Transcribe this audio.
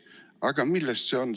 Aga millest see on?